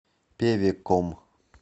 певеком